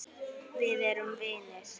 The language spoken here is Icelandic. Við erum vinir.